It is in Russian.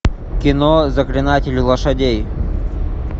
кино заклинатель лошадей